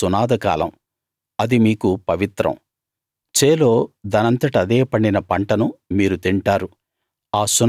అది సునాద కాలం అది మీకు పవిత్రం చేలో దానంతట అదే పండిన పంటను మీరు తింటారు